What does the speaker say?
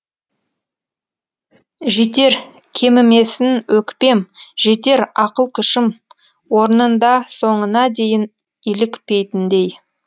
жетер кемімесін өкпем жетер ақыл күшім орнында соңына дейін илікпейтіндей